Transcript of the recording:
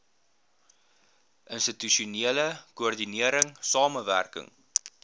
institusionele koördinering samewerkende